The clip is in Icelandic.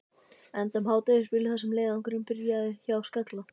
Enda um hádegisbilið þar sem leiðangurinn byrjaði, hjá Skalla.